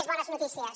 més bones notícies